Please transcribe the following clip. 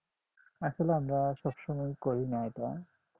আসলে আমরা সব সময় করিনা এটা